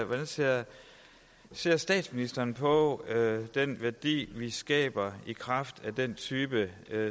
hvordan ser ser statsministeren på den værdi vi skaber i kraft af den type